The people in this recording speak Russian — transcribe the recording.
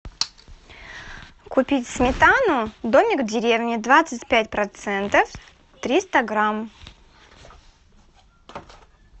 купить сметану домик в деревне двадцать пять процентов триста грамм